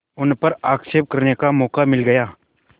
उन पर आक्षेप करने का मौका मिल गया